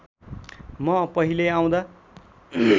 म पहिले आउँदा